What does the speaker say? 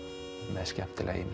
með skemmtilega ímynd